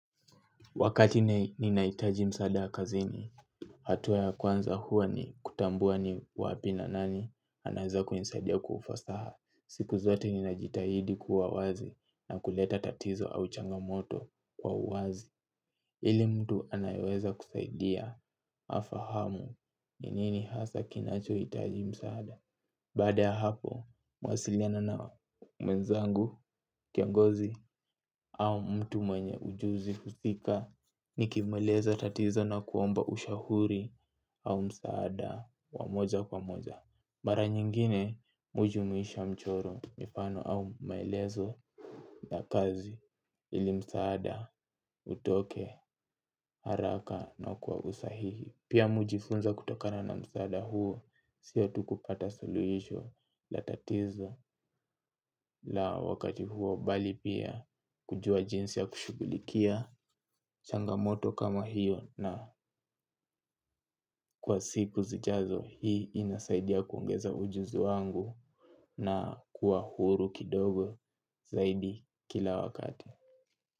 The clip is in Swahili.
Wakati ni naitaji msaada wakazini, hatua ya kwanza huwa ni kutambua ni wapina nani, anaeza kuinisadia kwaufasaha. Siku zote ni najitahidi kuwa wazi na kuleta tatizo au changamoto kwa uwazi. Ili mtu anayoweza kusaidia, afahamu, ni nini hasa kinacho itaji msaada. Baada ya hapo, mawasiliana na mwenzangu, kiongozi, au mtu mwenye ujuzi, usika, ni kimweleza tatizo na kuomba ushauri au msaada wamoja kwa moja. Mara nyingine, mi huju muisha mchoro mifano au maelezo na kazi ili msaada utoke haraka na kuwa usahihi. Pia miujifunza kutokana na msaada huo. Sia tukupata solution la tatizo la wakati huo bali pia kujua jinsi ya kushugulikia changamoto kama hiyo. Na kwa siku zijazo hii inasaidia kuongeza ujuzi wangu na kuwa huru kidogo zaidi kila wakati.